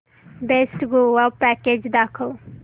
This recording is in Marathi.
बेस्ट गोवा पॅकेज दाखव